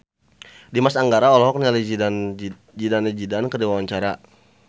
Dimas Anggara olohok ningali Zidane Zidane keur diwawancara